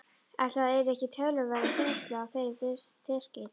Ætli það yrðu ekki töluverð þyngsli á þeirri teskeið.